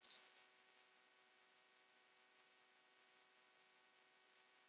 Hefur einhver heyrt þær?